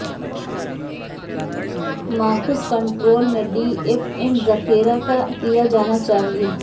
ماخذ کنٹرول میں D F M ذخیرہ کیا جانا چاہئے